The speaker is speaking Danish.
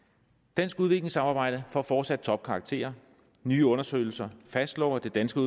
dansk udviklingssamarbejde får fortsat topkarakterer nye undersøgelser fastslår at det danske